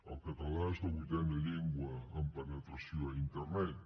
el català és la vuitena llengua en penetració a internet